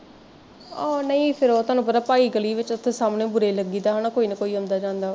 ਉਹ ਨਹੀਂ ਫੇਰ ਤੁਹਾਨੂੰ ਪਤਾ ਭਾਈ ਸਾਹਮਣੇ ਗਲੀ ਚ ਅਵੇ ਬੁਰੇ ਲੱਗੀ ਦਾ ਵਾ ਕੋਈ ਨਾ ਕੋਈ ਆਉਂਦਾ ਜਾਂਦਾ ਵਾ